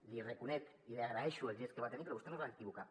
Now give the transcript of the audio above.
li reconec i li agraeixo el gest que va tenir però vostè no es va equivocar